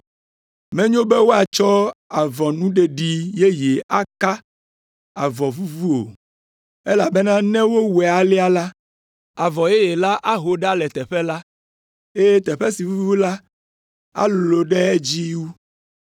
“Menyo be woatsɔ avɔnuɖeɖi yeye aka avɔ vuvu o, elabena ne wowɔe alea la, avɔ yeye la aho ɖa le teƒe la, eye teƒe si vuvu la alolo ɖe edzi wu.